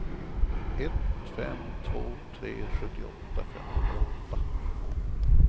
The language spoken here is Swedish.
ett fem två tre sjuttioåtta femhundraåtta